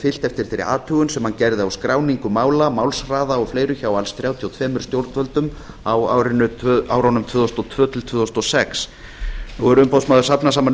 fylgt eftir þeirri athugun sem hann gerði á skráningu mála málshraða og fleiru hjá alls þrjátíu og tvö stjórnvöldum á árunum tvö þúsund og tvö til tvö þúsund og sex nú hefur umboðsmaður safnað saman